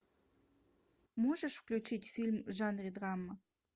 можешь включить фильм в жанре драма